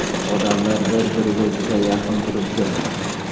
Odamlar bir-biriga juda yaqin turibdi.